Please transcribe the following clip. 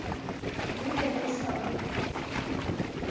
le be le sa go